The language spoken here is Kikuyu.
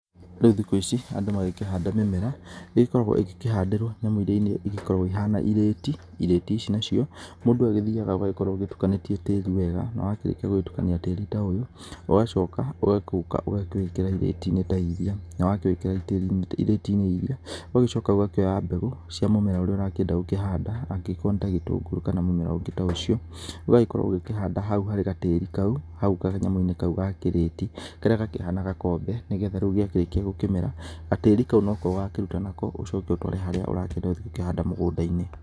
Rĩu thikũ ici andũ magĩkĩhanda mĩmera nĩ ĩgĩkoragwo igĩkĩhandĩrwo thamũ-inĩ iria igĩkoragwo ikĩhana irĩti, irĩti ici nacio mũndũ agĩthiaga ũgagĩkorwo ũgĩtukanĩtie tĩri wega, na wakĩrĩkia gũtũkania tĩri ũyũ ũgacoka, ũgagĩoka ũgakĩwĩkĩra irĩti-inĩ ta irĩa, na wakĩwĩkĩra irĩti-inĩ irĩa, ũgagĩcoka ũgakĩoya mbegũ cia mũmera ũrĩa ũrakĩenda gũkĩhanda, angĩkorwo nĩ ta gĩtungũrũ kana mũmera ũngĩ ta ũcio ũgagĩkorwo ũkĩhanda hau harĩ gatĩri kau, hau kanyamũ-inĩ kaũ ga kĩriti karĩa gakĩhana gakombe, nĩgetha rĩu rĩakĩrĩkia gũkĩmera gatĩri kau no ko ũgakaruta nako ũcoke ũtware harĩa ũrakĩenda gũthiĩ gũkĩhanda mũgũnda-inĩ.